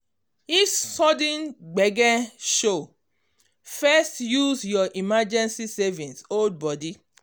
if um sudden gbege show first use your emergency um savings hold body.